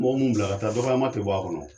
Mɔgɔ munnu bila ka taa dɔgɔyama tɛ bɔ a kɔnɔ.